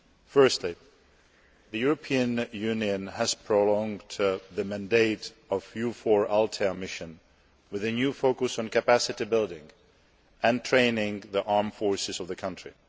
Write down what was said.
Firstly, the European Union has prolonged the mandate of the EUFOR Althea mission, with a new focus on capacity building and training the armed forces of the country.